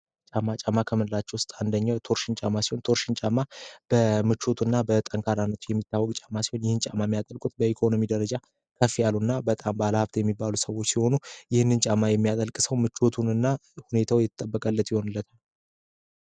ጫማ ከምንላቸው ውስጥ አንደኛው ቶርሽን ጫማ ሲሆን ቶርሽንጫማ በምቾቱ እና በጠንካራነቱ የሚታወቅ ጫማ ሲሆን ይህን ጫማ የሚያጠልቁት በኢኮኖሚ ደረጃ ከፍ ያሉ እና በጣም ባለሀብት የሚባሉ ሰዎች ሲሆኑ ይህንን ጫማ የሚያጠልቅ ሰው ምቾቱን ና ሁኔታው ይተጠበቀለት ይሆኑለታል።